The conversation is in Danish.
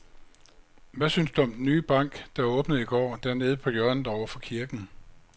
Hvad synes du om den nye bank, der åbnede i går dernede på hjørnet over for kirken?